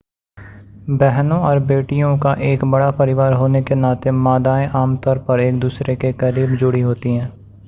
बहनों और बेटियों का एक बड़ा परिवार होने के नाते मादाएं आमतौर पर एक-दूसरे के करीब जुड़ी होती हैं